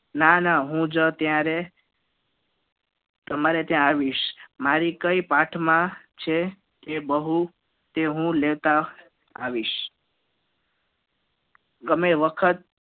ના ના હુજ તયારે તમારે ત્યાં આવીશ મારી કઈ પાઠમાં છે કે બહુ તે હું લેતા આવીશ તમે વખત